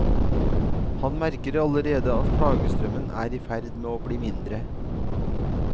Han merker allerede at klagestrømmen er i ferd med å bli mindre.